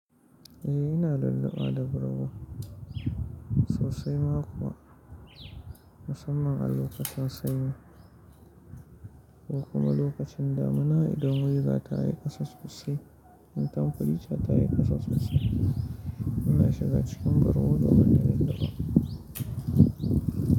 Eh ina lulluɓuwa da bargo sosai ma kuwa musamman a lokacin sanyi ko kuma lokacin damina idan weza tayi kusa sosai in tanfari ca ta yi kusa sosai ina shiga cikin bargo domin na lalluɓa.